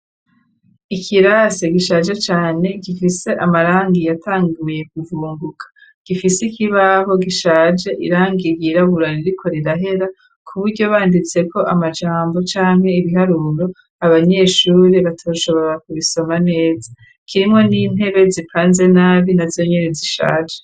Ikirase gishaje cane gifise amarangi yatangiye kuvunguka .Gifise ikibaho gishaje irangi y irabura ririko rirahera kuburyo banditse ko amajambo canke ibiharuro abanyeshuri batoshobora kubisoma neza kirimo n'intebe zipanze nabi na zonyene zishaje.